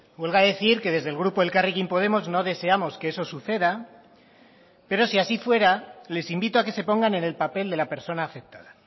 huelga decir que desde el grupo elkarrekin podemos no deseamos que eso suceda pero si así fuera les invito a que se pongan en el papel de la persona afectada